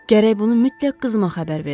Gərək bunu mütləq qızma xəbər verim.